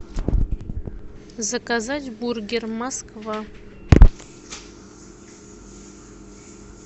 заказать бургер москва